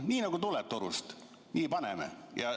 Nii nagu torust tuleb, nii paneme.